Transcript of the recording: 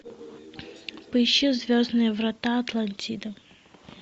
поищи звездные врата атлантида